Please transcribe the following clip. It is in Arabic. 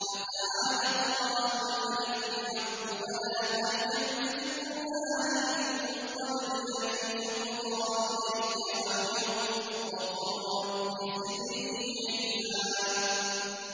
فَتَعَالَى اللَّهُ الْمَلِكُ الْحَقُّ ۗ وَلَا تَعْجَلْ بِالْقُرْآنِ مِن قَبْلِ أَن يُقْضَىٰ إِلَيْكَ وَحْيُهُ ۖ وَقُل رَّبِّ زِدْنِي عِلْمًا